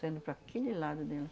Sendo para aquele lado deles.